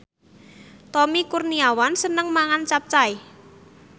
Tommy Kurniawan seneng mangan capcay